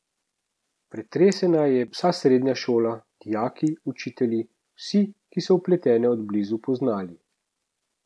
Pretresena je vsa srednja šola, dijaki, učitelji, vsi, ki so vpletene od blizu poznali.